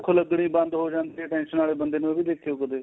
ਭੁੱਖ਼ ਲੱਗਣੀ ਬੰਦ ਹੋ ਜਾਂਦੀ ਏ tension ਵਾਲੇ ਬੰਦੇ ਨੂੰ ਐਵੀ ਦੇਖਿਓ ਕਦੇ